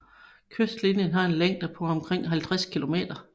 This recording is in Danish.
Kystlinjen har en længde på omkring 50 kilometer